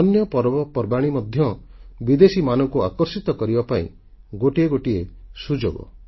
ଆମର ଅନ୍ୟ ପର୍ବପର୍ବାଣୀ ମଧ୍ୟ ବିଦେଶୀମାନଙ୍କୁ ଆକର୍ଷିତ କରିବା ପାଇଁ ଗୋଟିଏ ସୁଯୋଗ